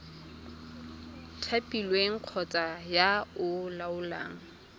thapilweng kgotsa yo o laolang